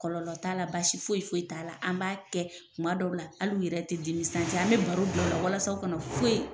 Kɔlɔlɔ t'a la basi foyi foyi t'a la an b'a kɛ kuma dɔw la hal'u yɛrɛ tɛ dimi an bɛ baro bila u la walasa o kana foyi